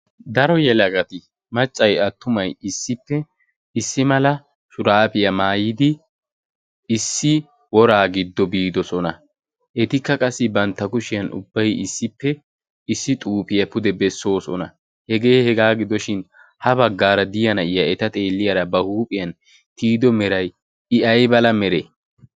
daro yelagati maccay attumay issippe issi malaa shurabiyaa maayyidi issi wora giddo biidoosona. etikka qassi bantta kushiyaa issippe ubbay issi xuufiya pude bessoosona. hege hega gidoshin ha baggara de'iya nayiyaa eta xeeliyaara ba huuphiyaan tiyido meray I ay mere?